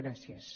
gràcies